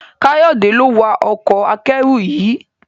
Kayode lo wá Ọkọ̀ akẹ́rù yí.